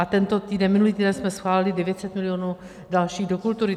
A tento týden, minulý týden jsme schválili 900 milionů dalších do kultury.